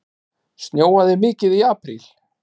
Snjóaði mikið í apríl?